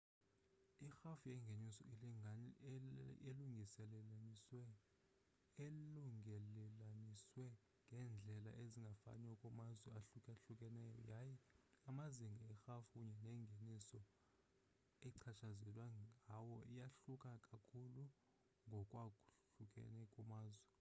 irhafu yengeniso ilungelelaniswe ngeendlela ezingafaniyo kumazwe ahlukahlukeneyo yaye amazinga erhafu kunye nengeniso echatshazelwa ngawo iyahluka kakhulu ngokwahlukana kwamazwe